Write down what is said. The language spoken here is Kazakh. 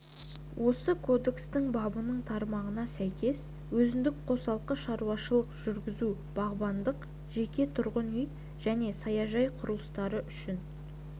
осы кодекстің бабының тармағына сәйкес өзіндік қосалқы шаруашылық жүргізу бағбандық жеке тұрғын үй және саяжай құрылыстары үшін